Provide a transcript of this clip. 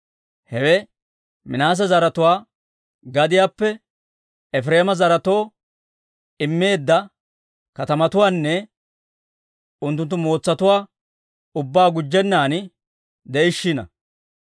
Hewe Minaase zaratuwaa gadiyaappe Efireema zaretoo immeedda katamatuwaanne unttunttu mootsatuwaa ubbaa gujjennan de'ishiina.